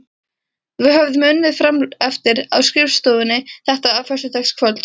Við höfðum unnið frameftir á skrifstofunni þetta föstudagskvöld.